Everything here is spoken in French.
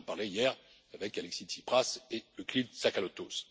J'en parlais hier avec Alexis Tsipras et Euclide Tsakalotos.